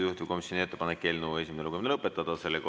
Juhtivkomisjoni ettepanek on eelnõu esimene lugemine lõpetada.